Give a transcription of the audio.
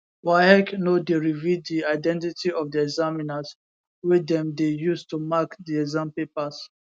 waec no dey reveal di identity of di examiners wey dem dey use to mark di exam papers